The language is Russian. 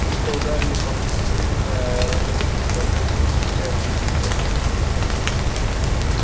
будто ударили по мне со спины аэродромные прожекторы высекая длинную тонкую тень